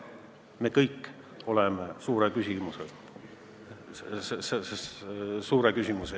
Me kõik oleme suure küsimuse ees.